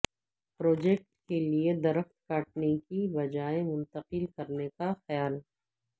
project کیلئے درخت کاٹنے کی بجائے منتقل کرنے کا خیال